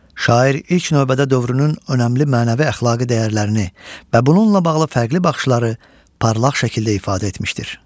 Şair ilk növbədə dövrünün önəmli mənəvi əxlaqi dəyərlərini və bununla bağlı fərqli baxışları parlaq şəkildə ifadə etmişdir.